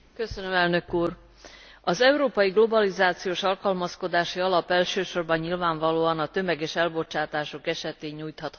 Az Európai Globalizációs Alkalmazkodási Alap elsősorban nyilvánvalóan a tömeges elbocsátások esetén nyújthat hathatós támogatást.